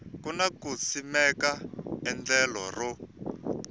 kona ku simeka endlelo ro